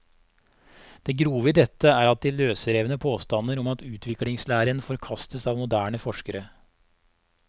Det grove i dette er de løsrevne påstander om at utviklingslæren forkastes av moderne forskere.